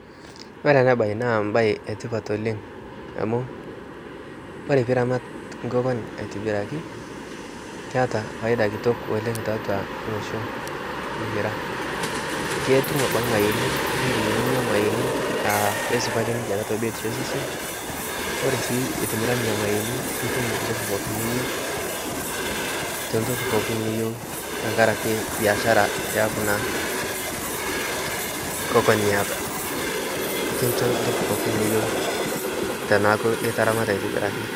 kore ana bai naa mbai etipat oleng amu kore piiramat nkokon inono aitibiraki keata faida kitok oleng taatua losho likiraa ketum abaki mayeeni indim ninya mayeeni aa keisupati ninshe taatua biotisho e sesen kore sii itimira nenia mayeeni itum ntoki pookin niyeu to ntoki pooki niyeu tankarake biashara ee kunaa kokon niata kinsho ntoki pooki niyeu tanaaku itaramata aitibiraki